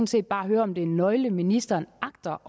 set bare høre om det er en nøgle ministeren agter